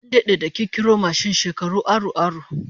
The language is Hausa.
An dade da kirkiro mashin, shekaru aru aru